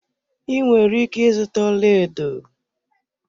Ị nwere ike ịzụta ọlaedo